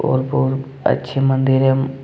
और बहुत अच्छे मंदिर हैं।